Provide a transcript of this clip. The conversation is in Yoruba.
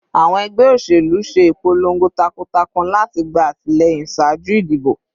Awọn ẹgbẹ oṣelu ṣe ipolongo takuntakun lati gba atilẹyin ṣaaju idibo